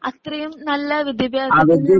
അത്രേം നല്ല വിത്യാഭ്യാസം